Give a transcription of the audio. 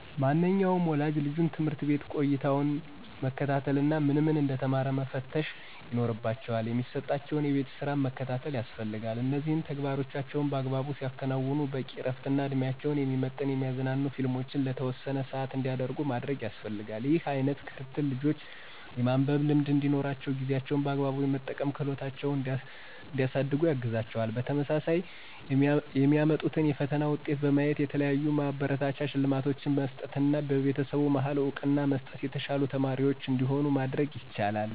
ማንኛውም ወላጅ ልጁን የትምህርት ቤት ቆይታውን መከታተል እና ምን ምን እንደተማረ መከታተልና መፈተሽ ይኖርባቸዋል። የሚሰጣቸውን የቤት ስራም መከታተል ያስፈልጋል እነዚህን ተግባሮቻቸውን በአግባቡ ሲያከናዉኑ በቂ እረፍትና እድሜያቸውን የሚመጥን የሚያዝናኑ ፊልሞችን ለተወሰነ ሰአት እንዲያዩ ማድረግ ያስፈልጋል። ይህ አይነት ክትትል ልጆች የማንበብ ልምድ እንዲኖራቸውና ጊዜያቸውን በአግባቡ የመጠቀም ክህሎታቸውን እንዲያሳድጉ ያግዛቸዋል። በተመሳሳይ የሚያመጡትን የፈተና ውጤት በማየት የተለያዩ ማበረታቻ ሽልማቶችን በመስጠትና በቤተሰቡ መሀል እውቅና በመስጠት የተሻሉ ተማሪዎች እንዲሆኑ ማድረግ ይቻላል።